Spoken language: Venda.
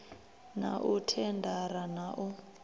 na u thendara na u